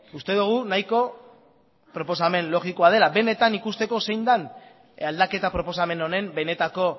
uste dugu nahiko proposamen logikoa dela benetan ikusteko zein den aldaketa proposamen honen benetako